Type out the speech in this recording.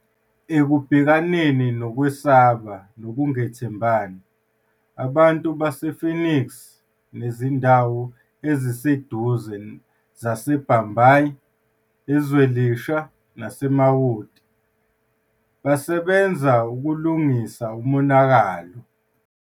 Ekubhekaneni nokwesaba nokungethembani, abantu base-Phoenix nezindawo eziseduze zaseBhambayi, eZwelisha naseMawoti basebenza ukulungisa umonakalo.